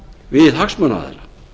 við hagsmunaaðila